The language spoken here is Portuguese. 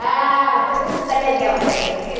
Ah, foi muito da legal também, viu?